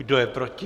Kdo je proti?